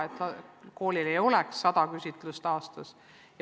Me soovime, et koolis ei oleks sada küsitlust aastas.